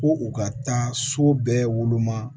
Ko u ka taa so bɛɛ woloma